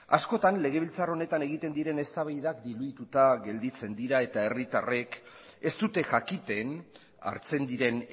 askotan legebiltzar honetan egiten diren eztabaidak dibidituta gelditzen dira eta herritarrek ez dute jakiten hartzen diren